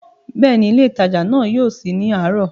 Bẹ́ẹ̀ni, ilé ìtajà náà yóò sí ní àárọ̀